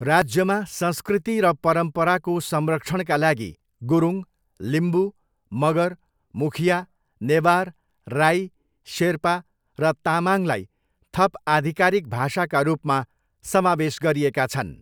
राज्यमा संस्कृति र परम्पराको संरक्षणका लागि गुरुङ, लिम्बू, मगर, मुखिया, नेवार, राई, शेर्पा र तामाङलाई थप आधिकारिक भाषाका रूपमा समावेश गरिएका छन्।